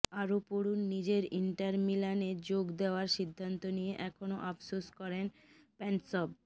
আরও পড়ুনঃনিজের ইন্টার মিলানে যোগ দেওয়ার সিদ্ধান্ত নিয়ে এখনও আফসোস করেন প্যান্সভ